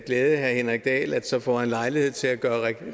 glæde herre henrik dahl at så får han lejlighed til at gøre